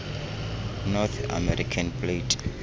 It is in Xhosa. north american plate